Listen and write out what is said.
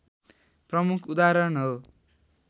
प्रमुख उदाहरण हो